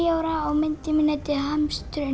ára og myndin mín heitir hamsturinn